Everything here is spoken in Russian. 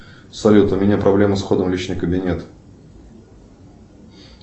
салют у меня проблема с входом в личный кабинет